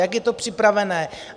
Jak je to připravené?